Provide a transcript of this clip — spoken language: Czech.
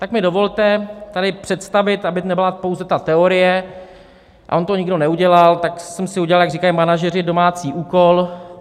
Tak mi dovolte tady představit, aby nebyla pouze ta teorie - a on to nikdo neudělal, tak jsem si udělal, jak říkají manažeři, domácí úkol.